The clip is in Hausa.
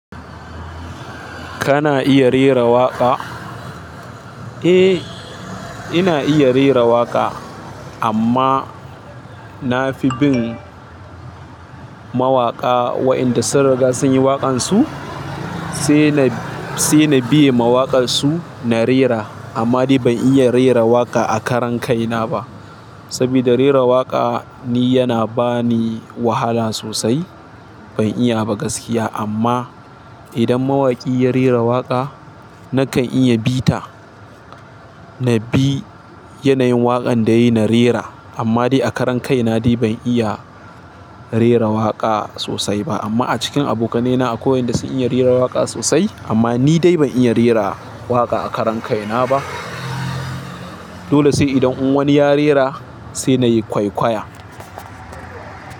Kana iya rera waƙa? Eh, ina iya rera waƙa, amma na fi bin mawaƙa waɗanda sun riga sun yi waƙansu, sai na, sai na biye mawaƙansu na rera. Amma ni ban iya rera waƙa a karan kai na ba. Saboda rera waƙa ni yana ba ni wahala sosai. Ban iya ba gaskiya amma, idan mawaƙi ya rera waƙa, na kan iya bita nabi yanayin waƙan da yayi na rera. Amma dai a karan kai na ni ban iya rera waƙa sosai ba. Amma a cikin abokanaina akwai waɗanda sun iya rera waƙa sosai, amma ni dai ban iya rera waƙa a karan kai na ba. Dole sai idan wani ya rera, sai na yi kwaikwaya.